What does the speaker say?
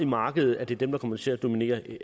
markedet at det er dem der kommer til at dominere det